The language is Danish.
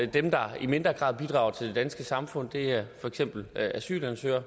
dem der i mindre grad bidrager til det danske samfund det er for eksempel asylansøgere og